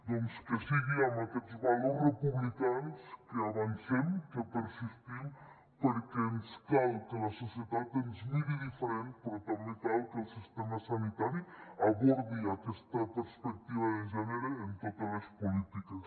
doncs que sigui amb aquests valors republicans que avancem que persistim perquè ens cal que la societat ens miri diferent però també cal que el sistema sanitari abordi aquesta perspectiva de gènere en totes les polítiques